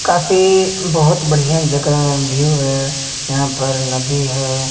काफी बहोत बढ़ियां जगह व्यू है यहां पर नदी है।